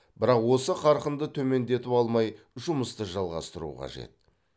бірақ осы қарқынды төмендетіп алмай жұмысты жалғастыру қажет